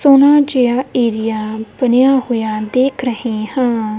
ਸੋਹਣਾ ਜਿਹਾ ਏਰੀਆ ਬਣਿਆ ਹੋਇਆ ਦੇਖ ਰਹੇ ਹਾਂ।